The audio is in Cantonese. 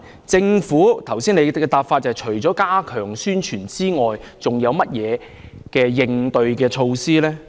政府除剛才表示會加強宣傳外，還有甚麼應對措施？